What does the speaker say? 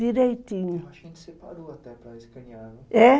Direitinho é